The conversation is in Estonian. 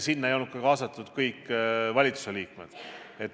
Sinna ei olnud kaasatud ka kõik valitsuse liikmed.